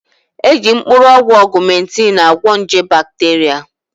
Eji mkpụrụ ọgwụ ọgụmentịn agwọ nje bakteria